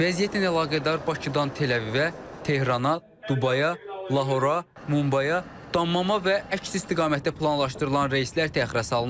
Vəziyyətlə əlaqədar Bakıdan Tel-Əvivə, Tehrana, Dubaya, Lahora, Mumbaya, Dammama və əks istiqamətdə planlaşdırılan reyslər təxirə salınıb.